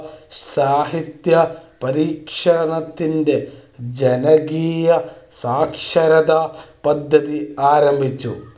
സാഹിത്യ പരിഷത്തിന്റെ ജനകീയ സാക്ഷരതാ പദ്ധതി ആരംഭിച്ചു.